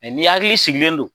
Ɛɛ ni hakili sigilen don